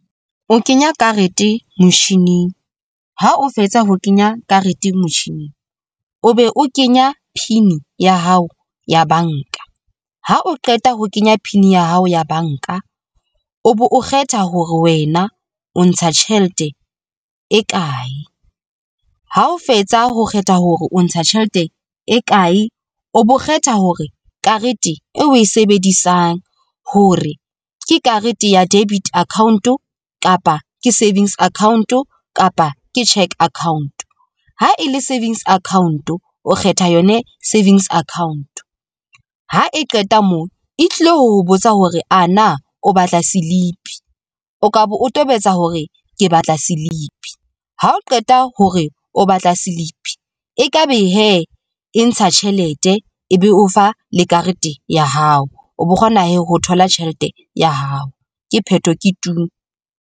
O kenya karete motjhining ha o fetsa ho kenya karete motjhining, o be o kenya pin ya hao ya banka. Ha o qeta ho kenya pin ya hao ya banka o be o kgetha hore wena o ntsha tjhelete e kae. Ha o fetsa ho kgetha hore o ntsha tjhelete e kae. O bo kgetha hore karete e o e sebedisang hore ke karete ya debit account kapa ke savings account kapa ke cheque account. Ha e le savings account o kgetha yone savings account ha e qeta moo, e tlilo ho botsa hore ana o batla silipi, o tlabe o tobetsa hore ke batla silipi ha o qeta ho re o batla silipi e tlabe hee e ntsha tjhelete, ebe o fa le karete ya hao o bo kgona ho thola tjhelete ya hao ke pheto ke tuu.